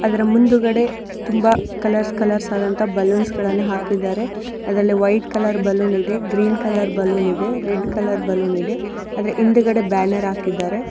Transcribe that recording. ಅದರ ಮುಂದುಗಡೆ ತುಂಬಾ ಕಲರ್ಸ್ ಕಲರ್ಸ್ ಆದಂತಹ ಬಲ್ಲೋನ್ಸ್ಗಳನ್ನ ಹಾಕಿದ್ದಾರೆ ಅದ್ರಲ್ಲಿ ವೈಟ್ ಕಲರ್ ಬಲ್ಲೋನ್ ಇದೆ ಗ್ರೀನ್ ಕಲರ್ ಬಲ್ಲೋನ್ ಇದೆ ರೆಡ್ ಕಲರ್ ಬಲ್ಲೋನ್ ಇದೆ ಆದ್ರೆ ಹಿಂದಗಡೆ ಬ್ಯಾನರ್ ಹಾಕಿದ್ದಾರೆ.